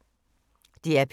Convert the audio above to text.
DR P3